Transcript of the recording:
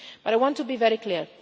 But I want to be very clear.